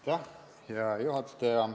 Hea juhataja!